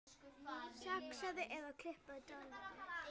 Saxaðu eða klipptu dillið.